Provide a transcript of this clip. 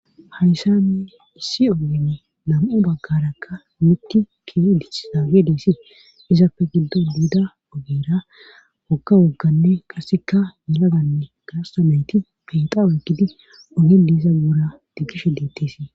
Hayssanne issi ogeni nam7u baggarakka mittike dichisa geedeesi izappe giddo buuda ogera okka wogganne qasseka melaganne gaastomeyti keexa oygidi oge diisa guura diggishe deetteesii.